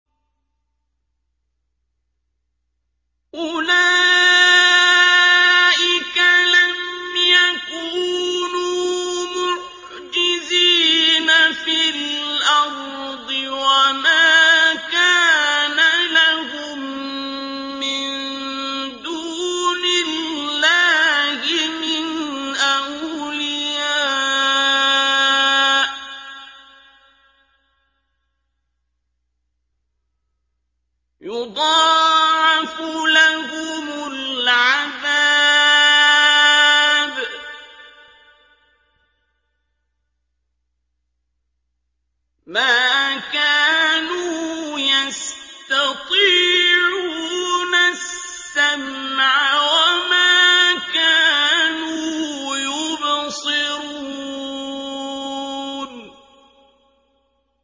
أُولَٰئِكَ لَمْ يَكُونُوا مُعْجِزِينَ فِي الْأَرْضِ وَمَا كَانَ لَهُم مِّن دُونِ اللَّهِ مِنْ أَوْلِيَاءَ ۘ يُضَاعَفُ لَهُمُ الْعَذَابُ ۚ مَا كَانُوا يَسْتَطِيعُونَ السَّمْعَ وَمَا كَانُوا يُبْصِرُونَ